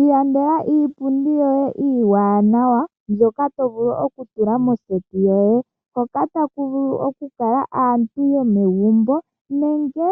Ilandela iipundi yoye iiwanawa mbyoka to vulu oku tula moseti yoye, hoka taku vulu oku kala aantu yomegumbo nenge